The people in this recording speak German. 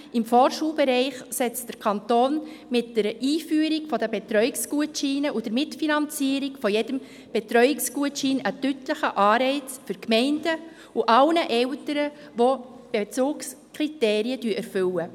Im Vorschulbereich setzt der Kanton mit der Einführung der Betreuungsgutscheine und der Mitfinanzierung jedes Betreuungsgutscheins einen deutlichen Anreiz für die Gemeinden und alle Eltern, die die Bezugskriterien erfüllen.